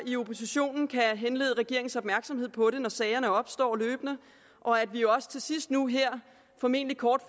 i oppositionen kan henlede regeringens opmærksomhed på det når sagerne opstår løbende og at vi også til sidst nu her formentlig kort